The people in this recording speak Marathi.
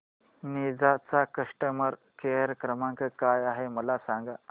निंजा चा कस्टमर केअर क्रमांक काय आहे मला सांगा